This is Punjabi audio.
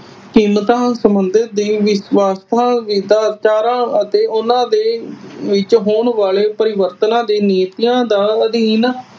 ਕੀਮਤਾਂ ਸਬੰਧਿਤ ਦੇ ਇਸ ਵੱਖ ਵੱਖ ਵਿਰਸਾ ਵਿਚਾਰਾਂ ਅਤੇ ਓਹਨਾ ਦੇ ਵਿਚ ਹੋਣ ਵਾਲੇ ਪਰਿਵਰਤਨ ਦੇ ਨੀਤੀਆਂ ਦਾ ਅਦੀਨ